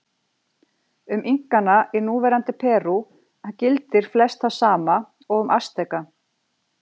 Um Inkana í núverandi Perú gildir flest það sama og um Asteka.